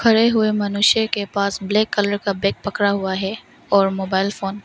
पड़े हुए मनुष्य के पास ब्लैक कलर का बैग पड़ा हुआ है और मोबाइल फोन --